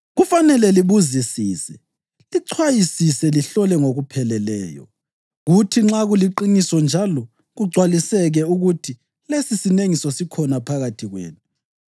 kufanele libuzisise, lichwayisise lihlole ngokupheleleyo. Kuthi nxa kuliqiniso njalo kugcwaliseke ukuthi lesisinengiso sikhona phakathi kwenu,